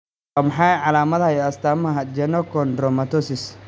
Waa maxay calaamadaha iyo astaamaha Genochondromatosis?